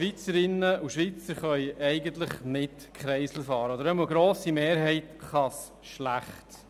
Schweizerinnen und Schweizer können eigentlich nicht durch Kreisel fahren, oder zumindest kann es eine grosse Mehrheit schlecht.